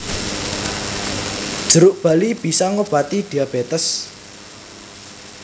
Jeruk bali bisa ngobati diabétés